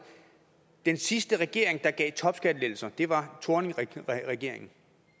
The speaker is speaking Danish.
den sidste regering der gav topskattelettelser var thorningregeringen